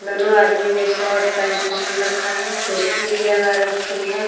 दोनों आदमी ने शर्ट पेंट पहन रखा है टोपी भी लगा रखी है ।